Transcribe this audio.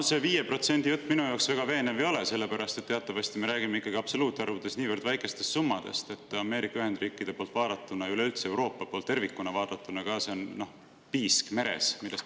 No see 5% jutt minu jaoks väga veenev ei ole, sest teatavasti me räägime absoluutarvudes ikkagi niivõrd väikestest summadest, et Ameerika Ühendriikide ja Euroopa poolt vaadatuna on see piisk meres.